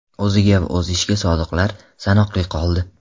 O‘ziga va o‘z ishiga sodiqlar sanoqli qoldi.